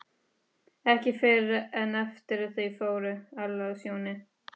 Ekki fyrr en eftir að þau fóru, Alla og Sjóni.